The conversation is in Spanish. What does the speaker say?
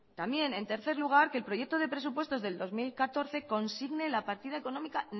también en tercer lugar que el proyecto de presupuestos del dos mil catorce consigne la partida económica